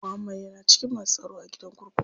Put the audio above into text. Muhammad ya na cikin masu tsaro a gidan kurkuku.